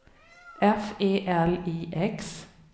F E L I X